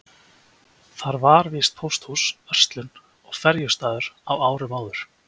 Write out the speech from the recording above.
Þar var víst pósthús, verslun og ferjustaður á árum áður.